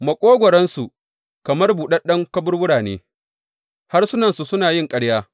Maƙogwaronsu kamar buɗaɗɗun kaburbura ne, harsunansu suna yin ƙarya.